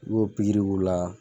I b'o pikiri k'u la.